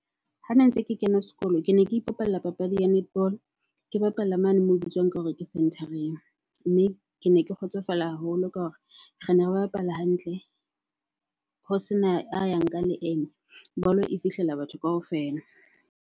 Ha ne ntse ke kena sekolo, ke ne ke ipapalla papadi ya netball. Ke bapalla mane moo ho bitswang ka hore ke center-eng. Mme kene ke kgotsofala haholo ka hore rene re bapala hantle ho sena a yang ka leeme, bolo e fihlela batho kaofela.